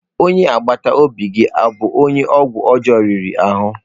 Onye agbata obi gị ọ bụ onye ọgwụ ọjọọ riri ahụ?